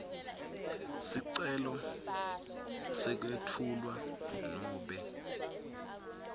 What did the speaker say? sicelo sekwesula nobe